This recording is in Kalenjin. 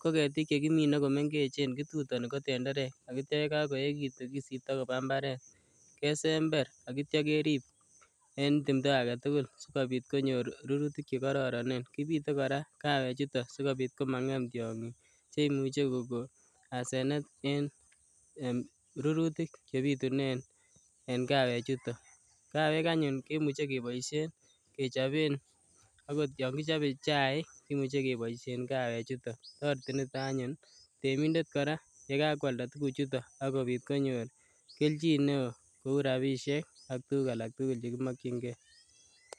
ko ketik chegimine ko mengechen, kitutoni ko tenderek ak kitya ye kagoegitun kisipto koba imbaret. Kesember ak kitya kerip en timndo agetugul sigobit konyor rurutik che gororonen. Kipite kora kawechuto sigopit komangem tiongik che imuche kogo asenet en, enrurutik chebitunen en kawechuton. Kawek anyun kemuche keboisien kechopen agot yon kichape chaik kemuche koboision kawechuton. Toreti nito anyun temindet kora ye kakwalda tuguchuton ak kopit konyor keljin neo kou rapisiek ak tugul alak tugul che kimakyinge.